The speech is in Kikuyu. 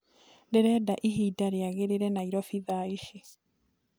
ndĩrenda ĩhĩnda riagirire nyairobi thaaĩcĩ